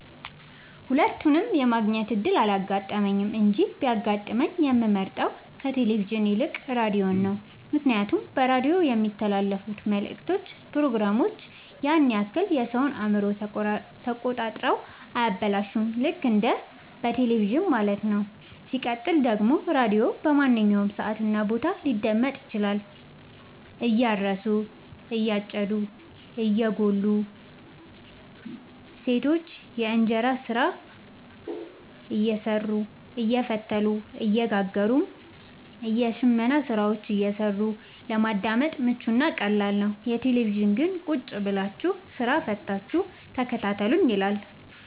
ሁለቱንም የማግኘት እድል አላጋጠመኝም እንጂ ቢያጋጥመኝ የምመርጠው ከቴሌቪዥን ይልቅ ራዲዮን ነው ምክንያቱም በራዲዮ የሚተላለፍት መልክቶች ፕሮግራሞች ያን ያክል የሰወን አእምሮ ተቆጣጥረው አያበላሹም ልክ እንደ በቴለቪዥን ማለት ነው። ሲቀጥል ደግሞ ራዲዮ በማንኛውም ሰዓት እና ቦታ ሊደመጥ ይችላል። እያረሱ የጨዱ እየጎሉ ሰቶች የእጅ ስራ እየሰሩ አየፈተሉ እየጋገሩም የሽመና ስራዎችን እየሰሩ ለማዳመጥ ምቹ እና ቀላል ነው። የቴሌቪዥን ግን ቁጭብላችሁ ስራ ፈታችሁ ተከታተሉኝ ይላል።